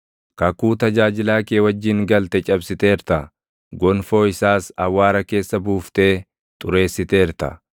Kakuu tajaajilaa kee wajjin galte cabsiteerta; gonfoo isaas awwaara keessa buuftee xureessiteerta.